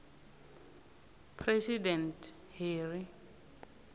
president harry